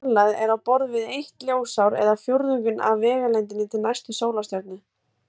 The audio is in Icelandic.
Sú fjarlægð er á borð við eitt ljósár eða fjórðunginn af vegalengdinni til næstu sólstjörnu.